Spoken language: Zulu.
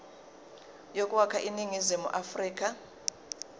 yokwakha iningizimu afrika